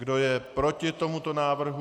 Kdo je proti tomuto návrhu?